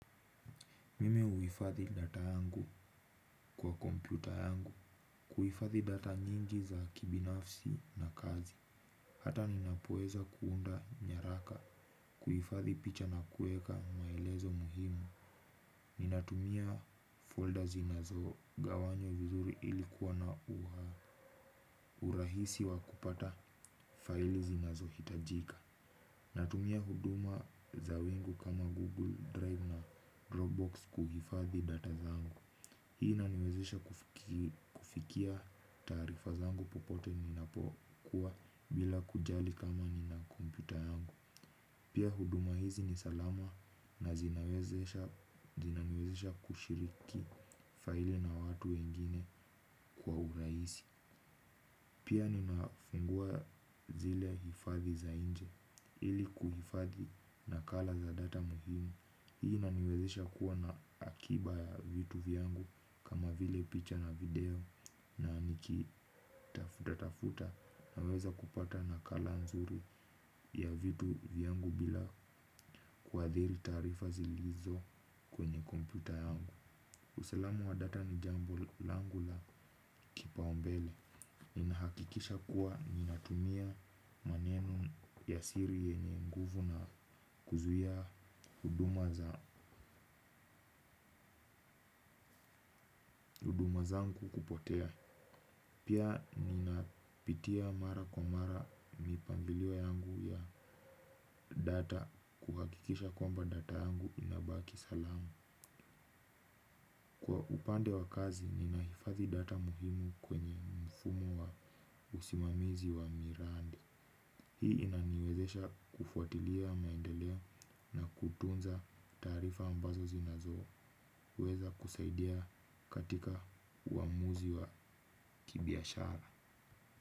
Mimi huhifadhi data yangu kwa kompyuta yangu, kuhifadhi data nyingi za kibinafsi na kazi. Hata ninapoweza kuunda nyaraka, kuhifadhi picha na kueka maelezo muhimu. Ninatumia folda zinazo gawanywa vizuri ili kuwa na urahisi wa kupata faili zinazohitajika. Natumia huduma za wingu kama Google Drive na Dropbox kuhifadhi data zangu. Hii inaniwezesha kufikia taarifa zangu popote ninapokuwa bila kujali kama nina kompyuta yangu. Pia huduma hizi ni salama na zinawezesha zinaniwezesha kushiriki faili na watu wengine kwa urahisi. Pia ninafungua zile hifadhi za inje ili kuhifadhi nakala za data muhimu. Hii inaniwezesha kuwa na akiba ya vitu vyangu kama vile picha na video na nikitafutatafuta naweza kupata nakala nzuri ya vitu vyangu bila kuadhiri tarifa zilizo kwenye komputa yangu. Usalamu wa data ni jambo langu la kipaumbele. Ninahakikisha kuwa ninatumia maneno ya siri yenye nguvu na kuzuia huduma za huduma zangu kupotea. Pia ninapitia mara kwa mara mipangilio yangu ya data kuhakikisha kwamba data yangu inabaki salama. Kwa pande wa kazi ninahifadhi data muhimu kwenye mfumo wa usimamizi wa miradi. Hii inaniwezesha kufuatilia maendeleo na kutunza tarifa ambazo zinazo. Weza kusaidia katika uamuzi wa kibiashara.